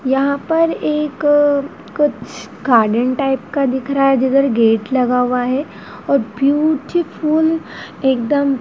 यहां पर एक कुछ गार्डन टाइप का दिख रहा है जिधर गेट लगा हुआ है और ब्यूटीफुल एकदम--